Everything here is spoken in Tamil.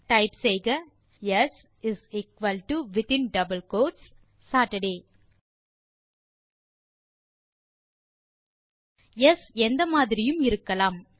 டைப் செய்க in double quotes Saturday s is equal to Saturday s எந்த மாதிரியும் இருக்கலாம்